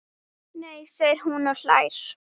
Nei segir hún og hlær.